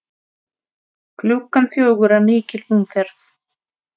Klukkan fjögur er mikil umferð.